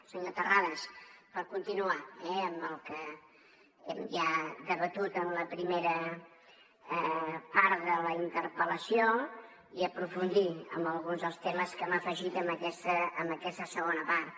senyor terrades per continuar amb el que hem ja debatut en la primera part de la interpel·lació i aprofundir en alguns dels temes que m’ha afegit en aquesta segona part